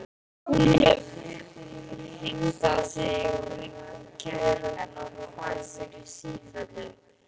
Hún hefur hringað sig kringum kettlingana og hvæsir í sífellu.